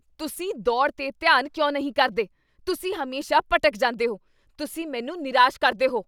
ਤੁਸੀਂ ਦੌੜ 'ਤੇ ਧਿਆਨ ਕਿਉਂ ਨਹੀਂ ਕਰਦੇ ? ਤੁਸੀਂ ਹਮੇਸ਼ਾ ਭਟਕ ਜਾਂਦੇ ਹੋ। ਤੁਸੀਂ ਮੈਨੂੰ ਨਿਰਾਸ਼ ਕਰਦੇ ਹੋ ।